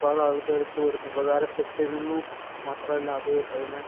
ഒരുപാട് ആള്‍ക്കാര്‍ക്ക് ഉപകാരപ്പെട്ടിരുന്നു. മാത്രമല്ല, അത് അതിനെ